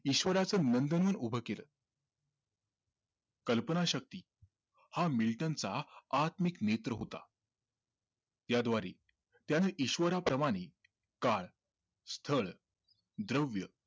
ईश्वराचं नंदनवन उभं केलं कल्पनाशक्ती हा मिल्टनचा आत्मिक नेत्र होता याद्वारे त्याने ईश्वराप्रमाणे काळ, स्थळ, द्रव्य